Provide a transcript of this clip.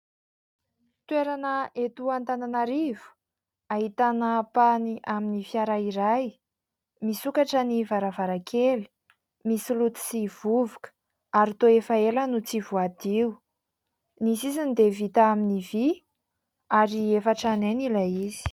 Toerana eto Antananarivo, ahitana ampahany amin'ny fiara iray. Misokatra ny varavarankely, misy loto sy vovoka, ary toa efa ela no tsy voadio. Ny sisiny dia vita amin'ny vỳ ary efa tranainy ilay izy.